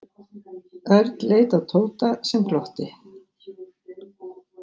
Örn leit á Tóta sem glotti.